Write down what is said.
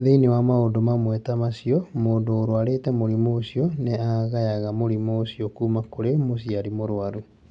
Thĩinĩ wa maũndũ mamwe ta macio, mũndũ ũrũarĩte mũrimũ ũcio nĩ agayaga mũrimũ ũcio kuuma kũrĩ mũciari mũrwaru.